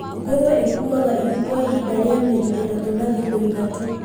Ngũrũe ĩkuaga ihu kwa ihinda rĩa mĩeri ĩtatũ na thikũ ithatũ.